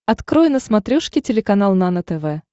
открой на смотрешке телеканал нано тв